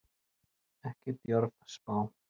Ekki djörf spá.